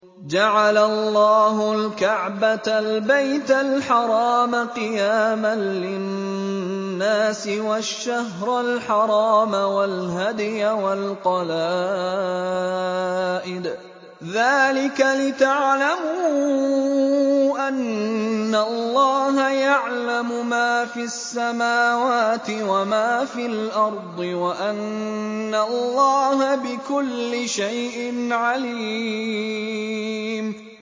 ۞ جَعَلَ اللَّهُ الْكَعْبَةَ الْبَيْتَ الْحَرَامَ قِيَامًا لِّلنَّاسِ وَالشَّهْرَ الْحَرَامَ وَالْهَدْيَ وَالْقَلَائِدَ ۚ ذَٰلِكَ لِتَعْلَمُوا أَنَّ اللَّهَ يَعْلَمُ مَا فِي السَّمَاوَاتِ وَمَا فِي الْأَرْضِ وَأَنَّ اللَّهَ بِكُلِّ شَيْءٍ عَلِيمٌ